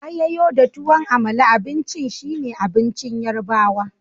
Ayoyo da tuwan Amala abincin shine abincin yorubawa.